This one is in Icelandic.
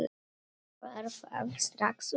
Var það strax ungur.